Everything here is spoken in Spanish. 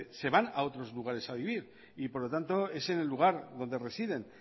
se van a otros lugares a vivir y por lo tanto es en el lugar donde residen